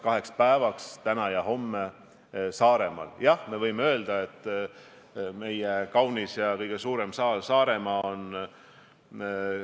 Kui te küsite nüüd, mis on selle juriidiline alus, siis see juriidiline alus on paljuski selles, mida me oleme siin viimase tunni jooksul arutanud: kas Eesti peaks eriolukorra välja kuulutama või mitte.